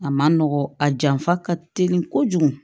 A man nɔgɔn a janfa ka teli kojugu